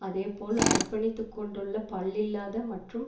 அதே போல் அர்ப்பணித்துக்கொண்டுள்ள பல்லில்லாத மற்றும்